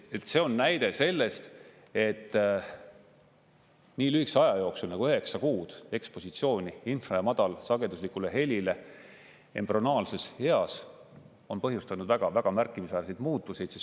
See on näide sellest, et nii lühikese aja jooksul nagu üheksa kuud ekspositsiooni infra- ja madalsageduslikule helile embrüonaalses eas on põhjustanud väga-väga märkimisväärseid muutuseid.